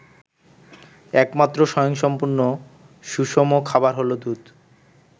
একমাত্র স্বয়ংসম্পূর্ণ সুষম খাবার হলো দুধ।